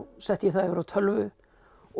setti ég það yfir á tölvu og